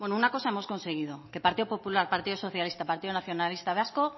bueno una cosa hemos conseguido que partido popular partido socialista partido nacionalista vasco